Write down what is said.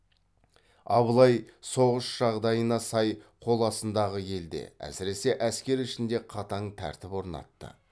абылай соғыс жағдайына сай қол астындағы елде әсіресе әскер ішінде қатаң тәртіп орнатты